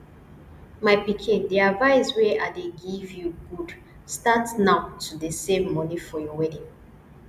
my pikin the advice wey i dey give you good start now to dey save money for your wedding